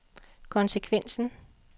konsekvensen